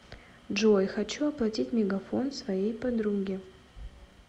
джой хочу оплатить мегафон своей подруги